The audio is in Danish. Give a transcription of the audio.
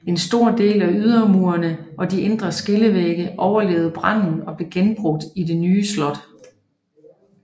En stor del af ydermurene og de indre skillevægge overlevede branden og blev genbrugt i det nye slot